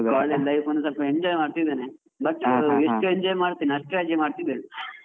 College life ಅನ್ನು ಸ್ವಲ್ಪ enjoy ಮಾಡ್ತಾ ಇದ್ದೇನೆ, enjoy ಮಾಡತೇನೆ, ಅಷ್ಟ್ ರಜೆ ಮಾಡ್ತಿದ್ದೇನೆ.